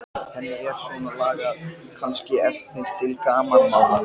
Eitt af öðru leysa þau landfestar og losna úr læðingi.